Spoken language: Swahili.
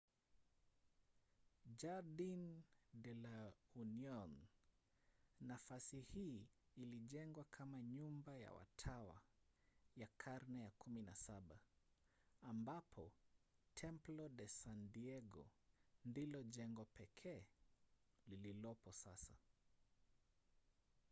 jardin de la union. nafasi hii ilijengwa kama nyumba ya watawa ya karne ya 17 ambapo templo de san diego ndilo jengo pekee lililopo sasa